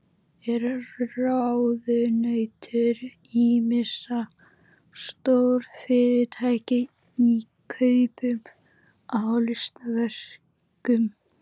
Er ráðunautur ýmissa stórfyrirtækja í kaupum á listaverkum.